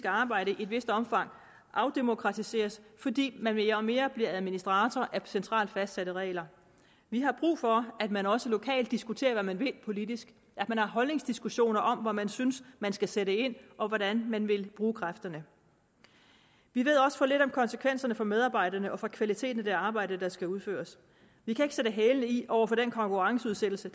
arbejde i et vist omfang afdemokratiseres fordi man mere og mere bliver administratorer af centralt fastsatte regler vi har brug for at man også lokalt diskuterer hvad man vil politisk at man har holdningsdiskussioner om hvor man synes man skal sætte ind og hvordan man vil bruge kræfterne vi ved også for lidt om konsekvenserne for medarbejderne og for kvaliteten af det arbejde der skal udføres vi kan ikke sætte hælene i over for den konkurrenceudsættelse